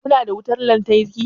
Kuna da wutan lantarki?